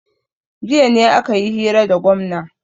jiya ne aka yi hira da gwamna